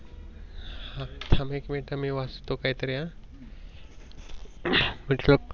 थांब एक मिनिट थांब मी वाच तो काही तरी.